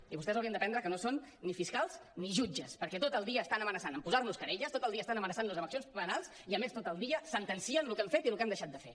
i vostès haurien d’aprendre que no són ni fiscals ni jutges perquè tot el dia estan amenaçant a posar nos querelles tot el dia estan amenaçant nos amb accions penals i a més tot el dia sentencien el que hem fet i el que hem deixat de fer